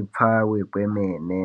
ipfave kwemene.